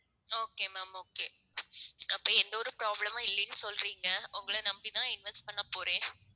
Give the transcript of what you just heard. okay ma'am okay அப்ப எந்த ஒரு problem மும் இல்லைன்னு சொல்றீங்க. உங்களை நம்பித்தான் invest பண்ண போறேன்.